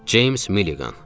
Ceyms Milliqan.